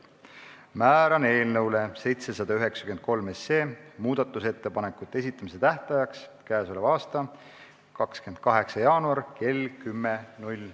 Määran eelnõu 793 muudatusettepanekute esitamise tähtajaks k.a 28. jaanuari kell 10.